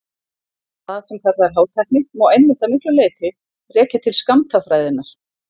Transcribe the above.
Það sem kallað er hátækni má einmitt að miklu leyti rekja til skammtafræðinnar.